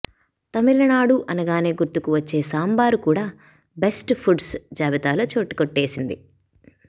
తమిళనాడు అనగానే గుర్తుకు వచ్చే సాంబారు కూడా బెస్ట్ ఫుడ్స్ జాబితాలో చోటు కొట్టేసింది